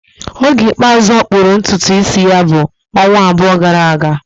Oge ikpeazụ ọ kpụrụ ntutu isi ya bụ ọnwa abụọ gara aga